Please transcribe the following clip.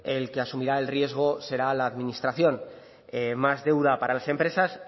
el que asumirá el riesgo será la administración más deuda para las empresas